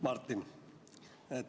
Martin!